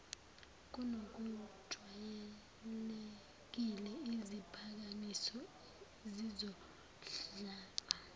kunokujwayelekile iziphakamiso zizondlalwa